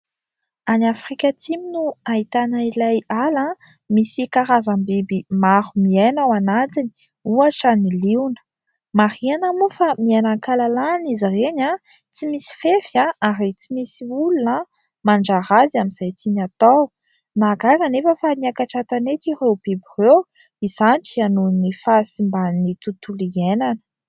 Any Afrika Atsimo no ahitana ilay ala misy karazam-biby maro miaina ao anatiny, ohatra ny liona. Marihana moa fa miaina ankahalalana izy ireny, tsy misy fefy ary tsy misy olona mandrara azy amin'izay tiany atao, nahagaga anefa fa niakatra an-tanety ireo biby ireo, izany dia nohon'ny fahasimban'ny tontolo iainana.